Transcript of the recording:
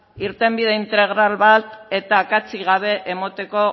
irtenbide integral bat eta akatsik gabe emateko